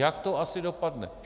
Jak to asi dopadne?